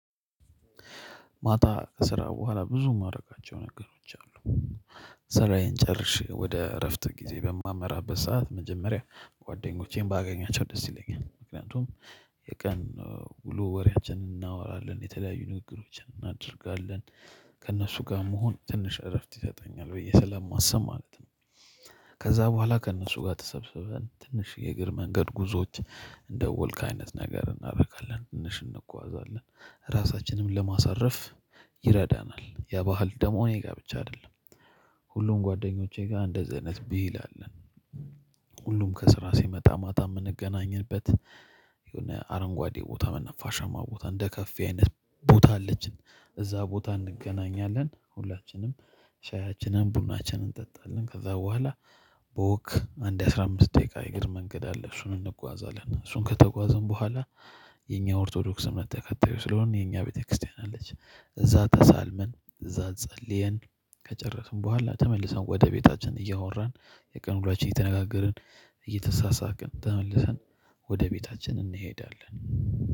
ማታ ከስራ በኋላ ብዙ ማረጋቸው ነገሮች አሉ። ስራዬን ጨርሼ ወደ እረፍት ጊዜ በማመራበት ሰዓት መጀመሪያ ጓደኞቼን ባገኛቸው ደስ ይለኛል ምክንያቱም የቀን ውሎ ወሬያችንን እናወራለን የተለያዩ ንግግሮችን እናደርጋለን። ከእነሱ ጋ መሆን ትንሽ እረፍት ይሰጠኛል ብዬ ስለማስብ ማለት ነው። ከዛ በኋላ ከእነሱ ጋር ተሰብስበን ትንሽ የእግር መንገድ ጉዞዎች እንደ ወልክ አይነት ነገር እናረጋለን ትንሽ እንጓዛለን ራሳችንንም ለማሳረፍ ይረዳናል። የባህል ደሞ እኔ ጋ ብቻ አይደለም ሁሉም ጓደኞቼ ጋ እንደዚህ አይነት ባህል አለን። ሁሉም ከስራ ሲመጣ ማታ ምንገናኝበት። የሆነ አረንጓዴ ቦታ ነፋሻማ ቦታ እንደ ከፌ አይነት ቦታ አለችን። እዛ ቦታ እንገናኛለን ሁላችንም ሻዬችንን ቡናችንን እንጠጣለን ከዛ በኋላ። በወክ አንድ አስራ አምስት ደቂቃ የእግር መንገድ አለ እሱን እንጓዛለን እሱን ከተጓዘን በኋላ። የኛ ኦርቶዶክስ እምነት ተከታዮች ስለሆነ የኛ ቤተክርስቲያን አለች እዛ ተሳልመን እዛ ጸልየን። ከጨረስን በኋላ ተመልሰን ወደ ቤታችን እያወራን የቀን ውሎአችንን እየተነጋገርን እየተሳሳቅን ተመልሰን ወደ ቤታችን እንሄዳለን።